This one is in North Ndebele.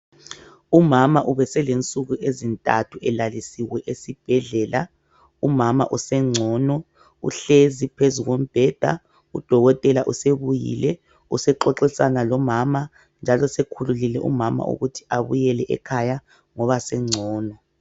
Umama ubeselensuku ezinthathu elalisiwe esibhedlela. Umama usengcono. Uhlezi phezu kombheda. Udokotela usebuyile. Usexoxisana lomama njalo sekhululile umama ukuthi abuyele ekhaya ngoba sengcono.